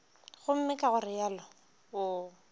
gomme ka go realo o